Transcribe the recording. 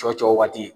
Cɔcɔ waati